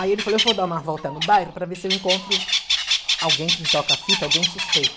Aí ele falou, eu vou dar uma volta no bairro para ver se eu encontro alguém com toca-fita, alguém suspeito.